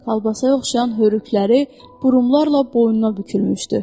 Kolbasaya oxşayan hörükləri burumlarla boynuna bükülmüşdü.